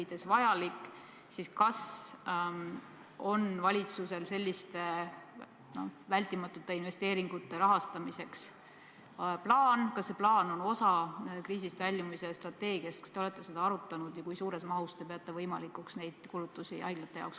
Personalil ei tohi olla COVID-19 tunnuseid ning plaanilise raviga tegelev personal ei tohi igapäevase töö käigus kokku puutuda COVID-19 patsientidega.